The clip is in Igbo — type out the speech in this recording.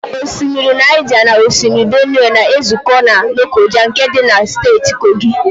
Osimiri Naịja na osimiri Benue na-ezụkọ na Lokoja nke dị na Steeti Kogi.